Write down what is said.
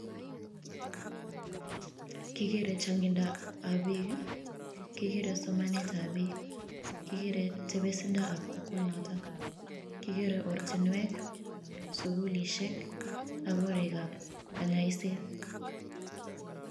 Kigeere changindab biik I,kigeree somanetab biik, kigere tebisindab kokwonotok, kigeree ortinwek sugulisiek ak korik ab kanyoiset.